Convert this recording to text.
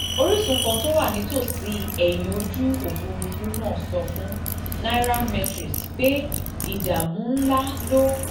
orísun kan tó wà nítòsí ẹ̀yìn ojú òfuurufú náà sọ fún nairametrics pé ìdààmú ńláǹlà ló